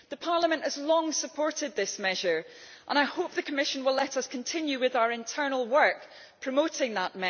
The Parliament has long supported this measure, and I hope that the Commission will let us continue with our internal work promoting it.